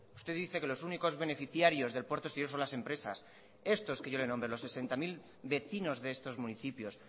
usted dice que los únicos beneficiarios del puerto exterior son las empresas estos que yo le he nombrado los sesenta mil vecinos de estos municipios